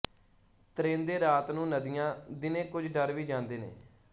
ਤਰੇਂਦੇ ਰਾਤ ਨੂੰ ਨਦੀਆਂ ਦਿਨੇ ਕੁਝ ਡਰ ਵੀ ਜਾਂਦੇ ਨੇ